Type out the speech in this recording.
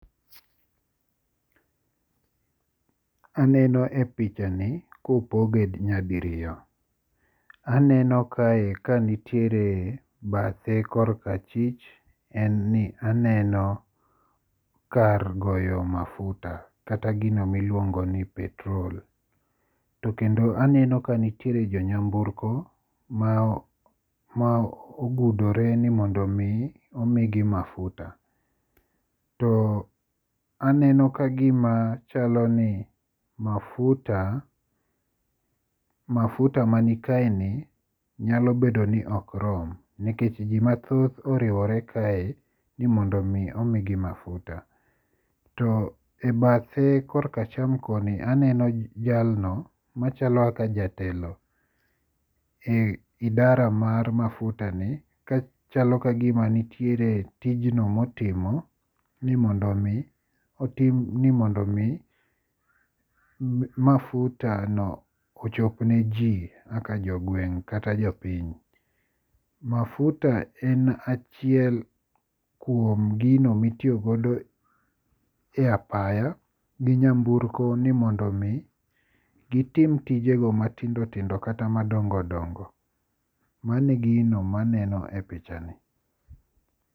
Aneno e picha ni kopoge nyadiriyo. Aneno kae kanitiere bathe korka chwich aen ni neno kar goyo mafuta kata gino miluongo ni petrol. Aneno jo nyamburko ma ogudore ni mondo mi omigi mafuta. To aneno kagima chaloni mafuta mafuta man kaeni nyalo bedo ni ok rom, nikech ji mathoth oriwore kae ni mondo mi omigi mafuta. To e bathe korka acham koni aneno jalno machalo kaka jatelo e idara mar mafutani ka chalo kagima nitiere tijno motimo ni mondo mi mafutano ochop ne ji kaka jogweng' kata jopiny. Mafuta en achiel kuom gigo ma itiyo godo e apaya gi nyamburko ni mondo mi gitim tijego matindo tindo kata madongo dongo. Mano e gino maneno e picha ni.